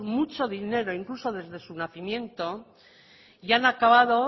muchos dinero incluso desde su nacimiento y han acabado